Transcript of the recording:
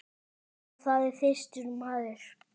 Já, það er þyrstur maður.